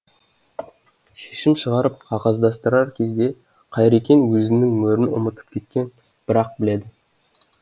шешім шығарып қағаздастырар кезде қайрекең өзінің мөрін ұмытып кеткенін бір ақ біледі